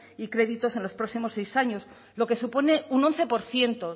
y créditos en los próximos seis años lo que supone un once por ciento